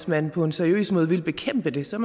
man på en seriøs måde vil bekæmpe dem så